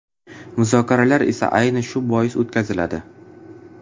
Muzokaralar esa, ayni shu bois o‘tkaziladi.